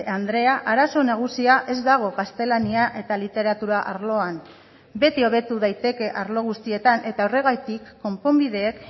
andrea arazo nagusia ez dago gaztelania eta literatura arloan beti hobetu daiteke arlo guztietan eta horregatik konponbideek